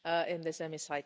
in this Chamber.